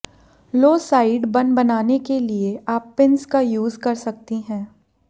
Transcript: लो side bun बनाने के लिए आप पिन्स का यूज कर सकती हैं